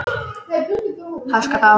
Háska frá.